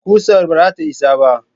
Ƙusar ba zata isa ba